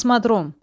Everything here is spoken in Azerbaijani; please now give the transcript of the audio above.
Kosmodrom.